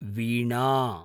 वीणा